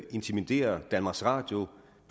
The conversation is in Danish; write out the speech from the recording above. intimidere danmarks radio